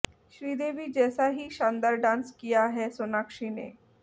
श्रीदेवी जैसा ही शानदार डांस किया है सोनाक्षी ने